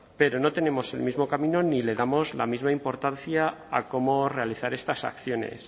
pero no tenemos el mismo camino ni le damos la misma importancia a cómo realizar estas acciones